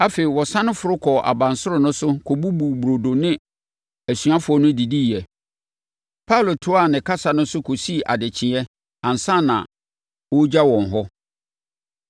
Afei, ɔsane foro kɔɔ abansoro no so kɔbubuu burodo ne asuafoɔ no diiɛ. Paulo toaa ne kasa no so kɔsii adekyeɛ ansa na ɔregya wɔn hɔ.